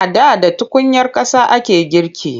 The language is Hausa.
A da da tukunyar ƙasa ake girki.